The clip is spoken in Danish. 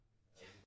Ja